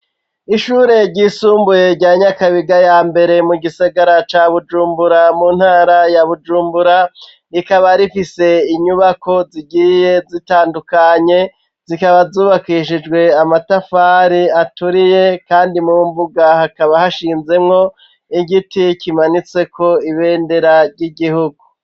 Ishure ryisumbuye rya nyakabiga ya mbere mu gisigara ca bujumbura mu ntara ya bujumbura, rikaba rifise inyubako zigiye zitandukanye zikaba zubakishijwe amatafari aturiye kandi mu mbuga hakaba hashinzemwo igiti kimanitseko ibendera ry'igihugu .